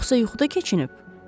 Yoxsa yuxuda keçinib?